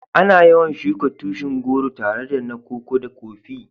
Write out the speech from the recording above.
Ana yawan shuka tushin goro tare da na Koko da Kofi.